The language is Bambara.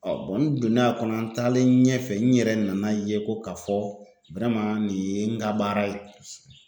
Ɔ bɔn n donnen a kɔnɔ an taalen ɲɛfɛ n yɛrɛ nana ye ko k'a fɔ wɛrɛman nin ye n ka baara ye